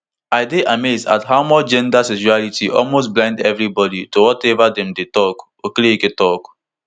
i dey amazed at how much gender sexuality almost blind evribodi to wateva dem dey tok okereke tok